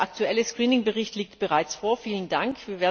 Der aktuelle Screening Bericht liegt bereits vor, vielen Dank.